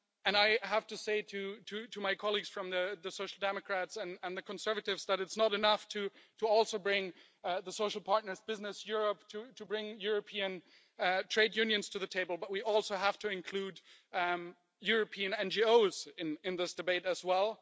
I have to say to my colleagues from the Social Democrats and the Conservatives that it's not enough to also bring the social partners, Business Europe, to bring European trade unions to the table, but we also have to include European NGOs in in this debate as well.